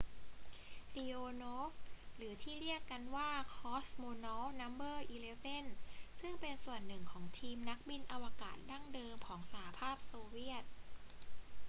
leonov หรือที่เรียกกันว่า cosmonaut no 11 เป็นส่วนหนึ่งของทีมนักบินอวกาศดั้งเดิมของสหภาพโซเวียต